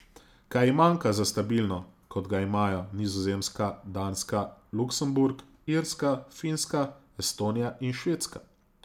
Kaj ji manjka za stabilno, kot ga imajo Nizozemska, Danska, Luksemburg, Irska, Finska, Estonija in Švedska?